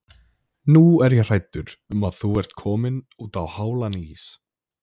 Nú er ég hræddur um að þú sért kominn útá hálan ís.